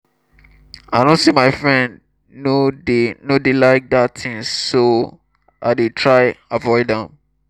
i no say my friend no dey no dey like dat thing so i dey try avoid am